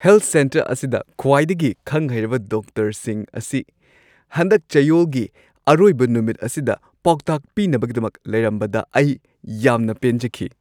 Health centre ꯑꯁꯤꯗ ꯈ꯭ꯋꯥꯏꯗꯒꯤ ꯈꯪ-ꯍꯩꯔꯕ ꯗꯣꯛꯇꯔꯁꯤꯡ ꯑꯁꯤ ꯍꯟꯗꯛ ꯆꯌꯣꯜꯒꯤ ꯑꯔꯣꯏꯕ ꯅꯨꯃꯤꯠ ꯑꯁꯤꯗ ꯄꯥꯎꯇꯥꯛ ꯄꯤꯅꯕꯒꯤꯗꯃꯛ ꯂꯩꯔꯝꯕꯗ ꯑꯩ ꯌꯥꯝꯅ ꯄꯦꯟꯖꯈꯤ ꯫